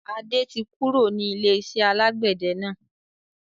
Adé tí kúrò ní ilé-iṣẹ́ alàgbẹ̀dẹ náà.